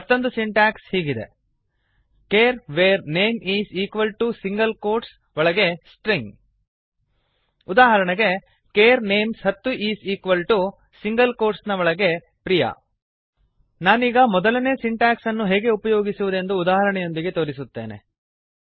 ಮತ್ತೊಂದು ಸಿಂಟ್ಯಾಕ್ಸ್ ಹೀಗಿದೆ160 char var name S ಟ್ ರ್ ಇ ನ್ g char var name is equal to single quotes ಒಳಗೆ ಸ್ಟ್ರಿಂಗ್ ಉದಾಹರಣೆಗೆ ಚಾರ್ names10 ಕೇರ್ ನೇಮ್ಸ್ ಹತ್ತು is equal to single quotes ನ ಒಳಗೆ priyaಪ್ರಿಯ ನಾನೀಗ ಮೊದಲನೇ ಸಿಂಟ್ಯಾಕ್ಸ್ ಅನ್ನು ಹೇಗೆ ಉಪಯೋಗಿಸುವುದೆಂದು ಉದಾಹರಣೆಯೊಂದಿಗೆ ತೋರಿಸುತ್ತೇನೆ